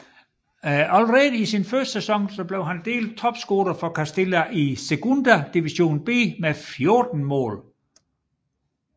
Allerede i sin første sæson blev han delt topscorer for Castilla i Segunda División B med 14 mål